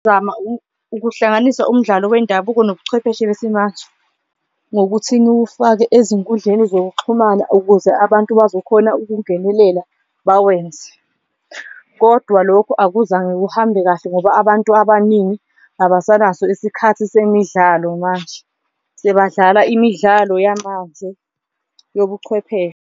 Ukuhlanganisa umdlalo wendabuko nobuchwepheshe besimanje ngokuthi niwufake ezinkundleni zokuxhumana ukuze abantu bazokhona ukungenelela bawenze, kodwa lokhu akuzange kuhambe kahle ngoba abantu abaningi abasanaso isikhathi semidlalo manje. Sebadlala imidlalo yamanje yobuchwepheshe.